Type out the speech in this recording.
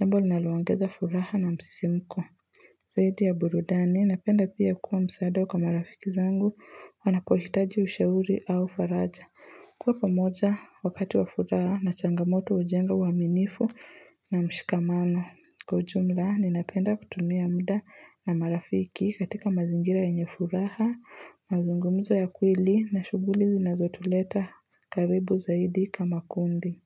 jambo linaloongeza furaha na msisimko Zaidi ya burudani napenda pia kuwa msaada kwa rafiki zangu wanapohitaji ushauri au faraja Kwa pamoja wakati wa furaha na changamoto hujenga uaminifu na mshikamano. Kwa ujumla, ninapenda kutumia mda na marafiki katika mazingira yenye furaha, mazungumzo ya kweli na shughuli zinazotuleta karibu zaidi kama kundi.